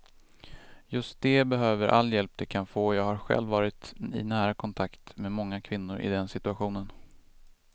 Just de behöver all hjälp de kan få, jag har själv varit i nära kontakt med många kvinnor i den situationen.